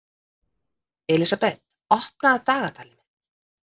Elísabeth, opnaðu dagatalið mitt.